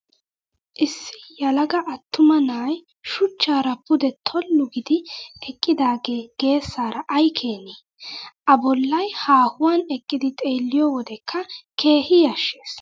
Issi yelaga attuma na'ayi shuchchaara pude tollu giidi eqqidaagee geesaara ayi keenee! A bollayi haahuwan eqqidi xeelliyoo wodekka keehi yashshes.